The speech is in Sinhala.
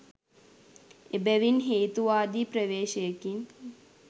එබැවින් හේතුවාදී ප්‍රවේශයකින්